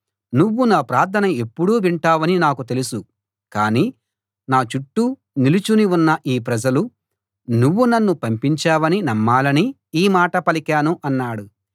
నువ్వు నా ప్రార్థన ఎప్పుడూ వింటావని నాకు తెలుసు కాని నా చుట్టూ నిలుచుని ఉన్న ఈ ప్రజలు నువ్వు నన్ను పంపించావని నమ్మాలని ఈ మాట పలికాను అన్నాడు